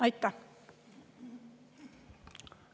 Aitäh!